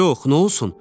Yox, nə olsun?